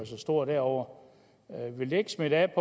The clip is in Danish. så stor derovre vil det ikke smitte af